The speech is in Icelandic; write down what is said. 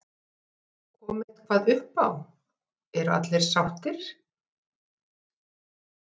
Kom eitthvað uppá, eru allir sáttir?